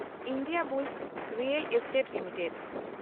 Indiabulls real estate limited